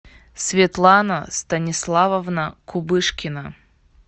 светлана станиславовна кубышкина